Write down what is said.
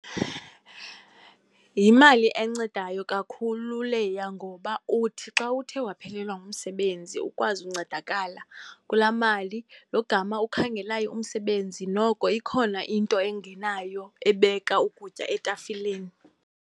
Yimali encedayo kakhulu leya, ngoba uthi xa uthe waphelelwa ngumsebenzi ukwazi ukuncedakala kulaa mali. Lo gama ukhangelayo umsebenzi, noko ikhona into engenayo ebeka ukutya etafileni.